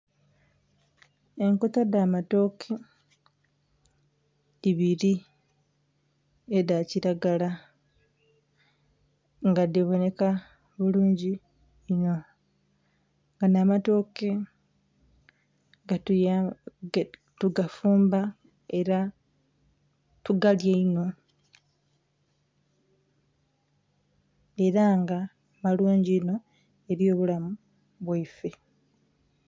Enkota dha matoke ibiri edha kilagala nga dhiboneka bulungi inho. Ganho amatoke tuga fumba era tugalya inho era nga malungi inho eri obulamu bwaife.